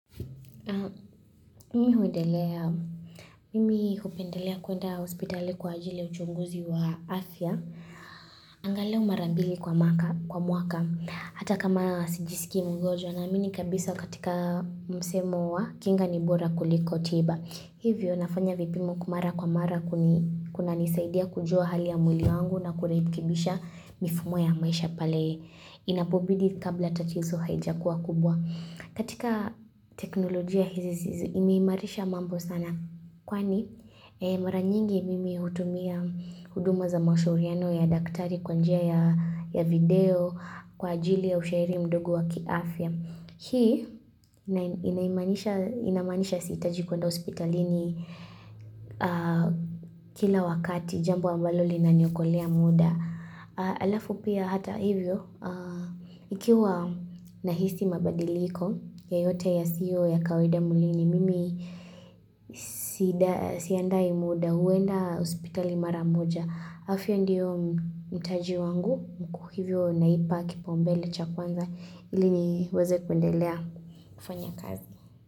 Mimi hupendelea kwenda hospitali kwa ajili ya uchunguzi wa afya. Angalau mara mbili kwa mwaka. Kwa mwaka Hata kama sijisikii mgojwa naamini kabisa katika msemo wa kinga ni bora kuliko tiba. Hivyo nafanya vipimo kwa mara kwa mara kuni kunanisaidia kujua hali ya mwili yangu na kurekekibisha mifumo ya maisha pale inapobidi kabla tatizo haijakuwa kubwa. Katika teknolojia hizi zi zimeimarisha mambo sana kwani mara nyingi mimi hutumia huduma za mashauriano ya daktari kwa njia ya video kwa ajili ya ushairi mdogo wa kiafya. Hii, inaimanisha inamaanisha siitaji kwenda hospitalini kila wakati, jambo ambalo linaniokolea muda. Alafu pia hata hivyo, ikiwa nahisi mabadiliko, yoyote yasio ya kawaida mwilini, mimi siandai muda, huenda hospitali mara moja. Afya ndiyo mtaji wangu mkuu hivyo naipa kipaumbele cha kwanza ili niweze kuendelea kufanya kazi.